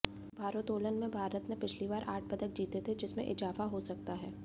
भारोत्तोलन में भारत ने पिछली बार आठ पदक जीते थे जिसमें इजाफा हो सकता है